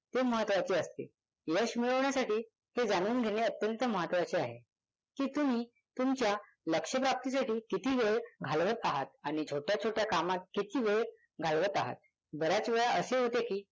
ते महत्वाचे असते. यश मिळवण्यासाठी हे जाणून घेणे अत्यंत महत्वाचे आहे की तुम्ही तुमच्या लक्ष प्राप्ती साठी किती वेळ घालवत आहात आणि छोट्या छोट्या कामात किती वेळ घालवत आहात. बऱ्याच वेळा असे होते की